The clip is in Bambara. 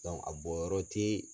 a bɔn yɔrɔ tɛ